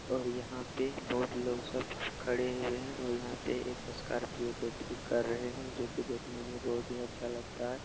और यहाँ पे बहोत लोग सब खड़े हैं और यहाँ पे एक स्कॉर्पियो को ठीक कर रहे हैं जो कि देखने में बहोत ही अच्छा लगता है।